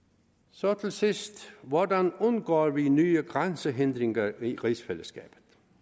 så til sidst hvordan undgår vi nye grænsehindringer i rigsfællesskabet